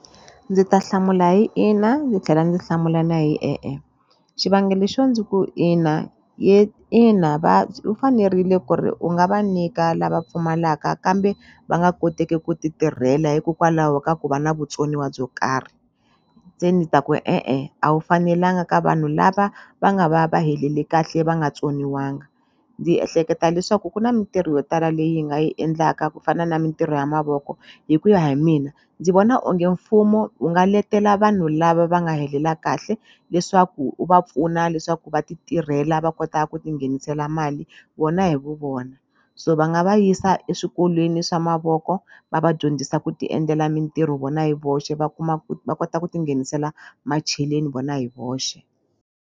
Ndzi ta hlamula hi ina ni tlhela ndzi hlamula na hi e-e xivangelo xo ndzi ku ina ina va u fanerile ku ri u nga va nyika lava pfumalaka kambe va nga koteki ku ti tirhela hikokwalaho ka ku va na vutsoniwa byo karhi se ni ta ku e-e a wu fanelanga ka vanhu lava va nga va va helele kahle va nga tsoniwanga ndzi ehleketa leswaku ku na mintirho yo tala leyi hi nga yi endlaka ku fana na mintirho ya mavoko hikuya hi mina ndzi vona onge mfumo wu nga letela vanhu lava va nga helela kahle leswaku u va pfuna leswaku va ti tirhela va kota ku ti nghenisela mali vona hi vu vona so va nga va yisa eswikolweni swa mavoko va va dyondzisa ku ti endlela mintirho vona hi voxe va kuma ku ta kota ku ti nghenisela macheleni vona hi voxe.